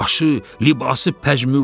başı, libası pəjmürdə.